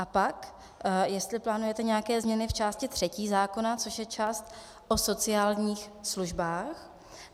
A pak jestli plánujete nějaké změny v části třetí zákona, což je část o sociálních službách.